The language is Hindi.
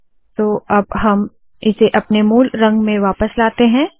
तो अब हम इसे अपने मूल रंग में वापस लाते है